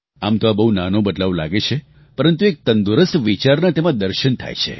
આમ તો આ બહુ નાનો બદલાવ લાગે છે પરંતુ એક તંદુરસ્ત વિચારનાં તેમાં દર્શન થાય છે